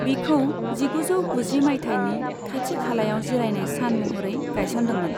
बिखौ जिगुजौ गुजि माइथायनि खाथि खालायाव जिरायनाय सान महरै गाइसन्दोंमोन।